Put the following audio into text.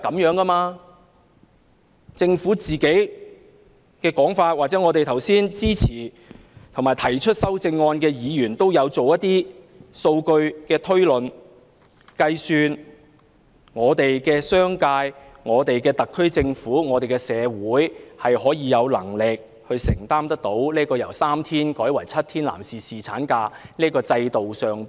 剛才支持7天侍產假或提出修正案的議員都有做過一些數據的推論和計算，指出商界、特區政府和社會有能力承擔侍產假由3天增至7天的成本。